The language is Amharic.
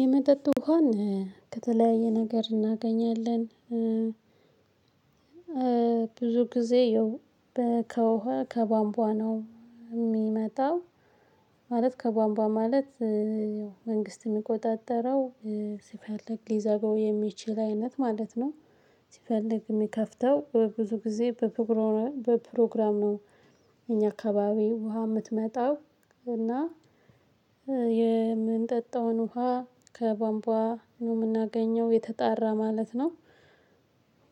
የመጠጥ ውሃን ከተለያየ ነገር እናገኛለን። ብዙ ጊዜ ያው ውሃ ከቧንቧ ነው የሚመጣው። ማለት ከቧንቧ ማለት መንግስት የሚቆጣጠረው ሲፈለግ ሊዘጋው የሚችል አይነት ማለት ነው። ሲፈልግ የሚከፍተው ብዙ ጊዜ በፕሮግራም ነው። እኛ አካባቢ ውሃ የምትመጣው እና የምንጠጣውን ውሃ ከቧንቧ ነው የምናገኘው የተጣራ ማለት ነው።